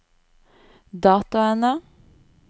dataene